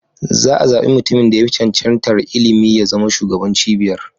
Za a zabi mutumin da ya fi cancantar ilimi ya zama shugaban cibiyar